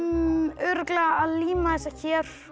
örugglega að líma þessa hér